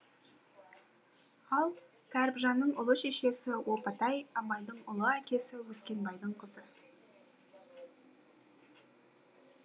ал кәріпжанның ұлы шешесі опатай абайдың ұлы әкесі өскенбайдың қызы